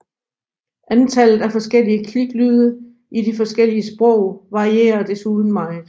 Antallet af forskellige kliklyde i de forskellige sprog varierer desuden meget